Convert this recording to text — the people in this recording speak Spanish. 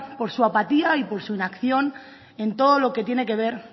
por su apatía y por su inacción en todo lo que tiene que ver